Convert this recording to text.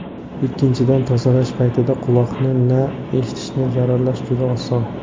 Ikkinchidan, tozalash paytida quloqni va eshitishni zararlash juda oson.